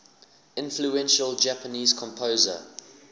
influential japanese composer